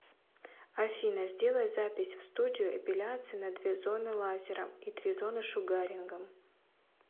афина сделай запись в студию эпиляции на две зоны лазером и три зоны шугарингом